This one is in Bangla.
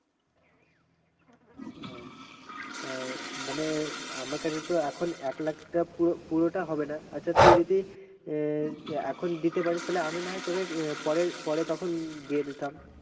ও। তো মানে আমার কাছে তো এখন এক লাখটা পুরোটা হবে না, আচ্ছা তুই যদি এখন দিতে পারিস তাহলে আমি না হয় তোকে পরে তখন দিয়ে দিতাম।